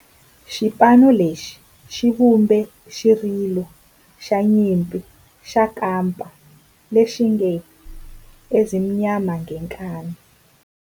Xipano lexi xi vumbe xirilo xa nyimpi xa kampa lexi nge 'Ezimnyama Ngenkani'.